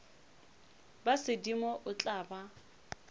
ba sedimo o tla ba